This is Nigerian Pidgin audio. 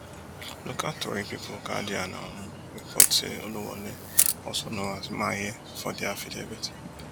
local tori pipu guardian um report say oluwole also known as maye for di affidavit